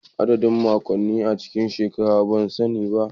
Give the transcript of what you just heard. Adadin makonni a cikin shekara ban sani ba